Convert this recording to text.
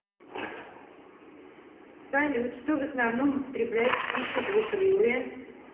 салют что в основном употребляют в пищу двукрылые